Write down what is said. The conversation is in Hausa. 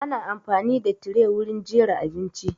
Ana amfani da tire wurin jera abinci